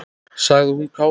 sagði hún kát.